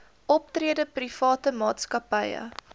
optrede private maatskappye